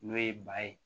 N'o ye ba ye